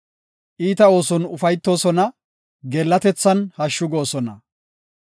Iita ooson ufaytoosona; geellatethan hashshu goosona.